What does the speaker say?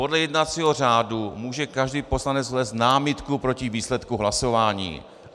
Podle jednacího řádu může každý poslanec vznést námitku proti výsledku hlasování.